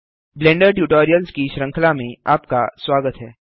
blender tutorials की श्रृंखला में आपका स्वागत है